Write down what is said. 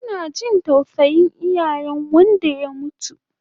Ana jin tausayin iyalen wanda ya mutu